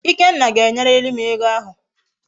Ikenna ga enyiririm ego ahu